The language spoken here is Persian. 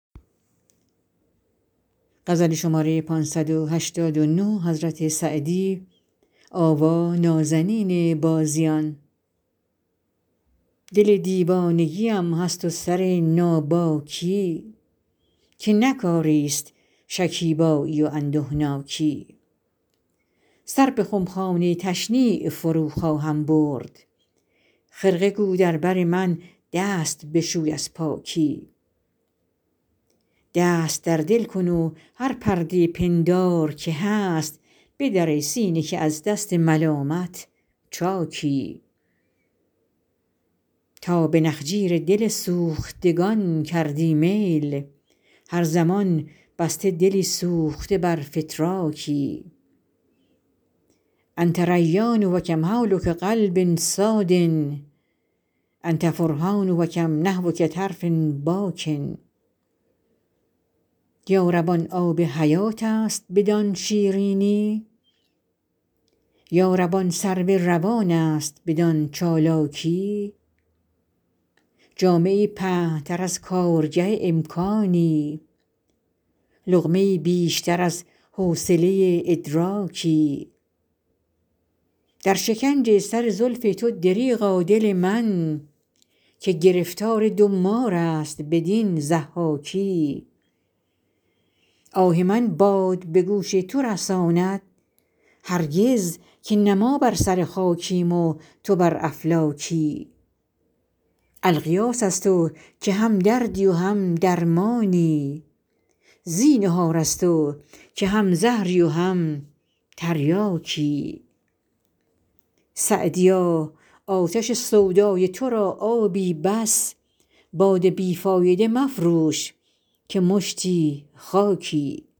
دل دیوانگی ام هست و سر ناباکی که نه کاری ست شکیبایی و اندهناکی سر به خمخانه تشنیع فرو خواهم برد خرقه گو در بر من دست بشوی از پاکی دست در دل کن و هر پرده پندار که هست بدر ای سینه که از دست ملامت چاکی تا به نخجیر دل سوختگان کردی میل هر زمان بسته دلی سوخته بر فتراکی أنت ریان و کم حولک قلب صاد أنت فرحان و کم نحوک طرف باکی یا رب آن آب حیات است بدان شیرینی یا رب آن سرو روان است بدان چالاکی جامه ای پهن تر از کارگه امکانی لقمه ای بیشتر از حوصله ادراکی در شکنج سر زلف تو دریغا دل من که گرفتار دو مار است بدین ضحاکی آه من باد به گوش تو رساند هرگز که نه ما بر سر خاکیم و تو بر افلاکی الغیاث از تو که هم دردی و هم درمانی زینهار از تو که هم زهری و هم تریاکی سعدیا آتش سودای تو را آبی بس باد بی فایده مفروش که مشتی خاکی